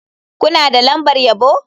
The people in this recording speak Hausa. Kuna da lambar yabo?